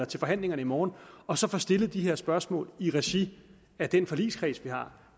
til forhandlingerne i morgen og så få stillet de her spørgsmål i regi af den forligskreds vi har